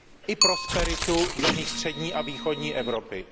i prosperitu v zemích střední a východní Evropy.